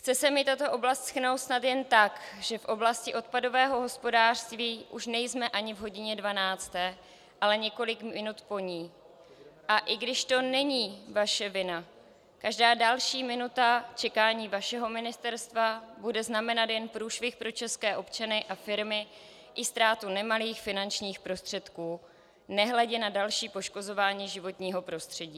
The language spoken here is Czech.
Chce se mi tato oblast shrnout snad jen tak, že v oblasti odpadového hospodářství už nejsme ani v hodině dvanácté, ale několik minut po ní, a i když to není vaše vina, každá další minuta čekání vašeho ministerstva bude znamenat jen průšvih pro české občany a firmy, i ztrátu nemalých finančních prostředků, nehledě na další poškozování životního prostředí.